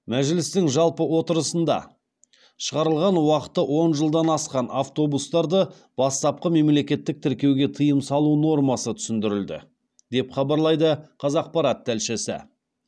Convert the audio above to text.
мәжілістің жалпы отырысында шығарылған уақыты он жылдан асқан автобустарды бастапқы мемлекеттік тіркеуге тыйым салу нормасы түсіндірілді деп хабарлайды қазақпарат тілшісі